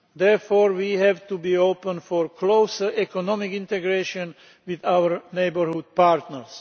Therefore, we have to be open to closer economic integration with our neighbourhood partners.